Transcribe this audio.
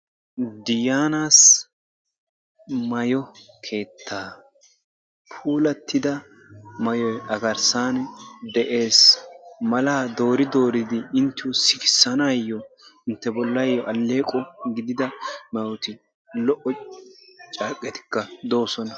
Diyaanaasi maayo keettaa puulattida maayoy a garssaan de'ees. Malaa doori dooridi inttiyo sikisanaayoo inte bollayoo alleqo gidida maayoti lo"o carqqetikka doosona.